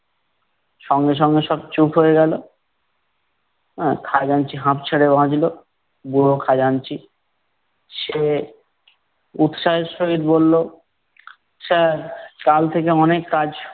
সঙ্গে সঙ্গে সব চুপ হয়ে গেলো। আহ খাজাঞ্চি হাপ্ ছেড়ে বাঁচলো। বুড়ো খাজাঞ্চি, সে উৎসাহের সহিত বললো sir কাল থেকে অনেক কাজ-